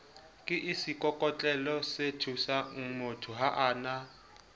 ke seikokotlelosethusangmotho ha a na